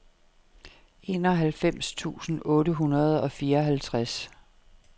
enoghalvfems tusind otte hundrede og fireoghalvtreds